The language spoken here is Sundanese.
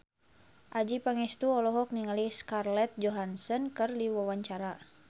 Adjie Pangestu olohok ningali Scarlett Johansson keur diwawancara